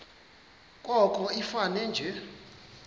koko ifane nje